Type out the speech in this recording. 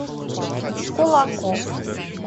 кулаков